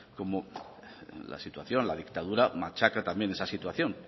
cómo la situación la dictadura machaca también esa situación